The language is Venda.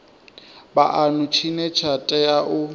vhuanu tshine tsha tea u